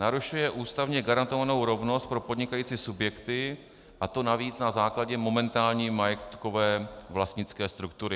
Narušuje ústavně garantovanou rovnost pro podnikající subjekty, a to navíc na základě momentální majetkové vlastnické struktury.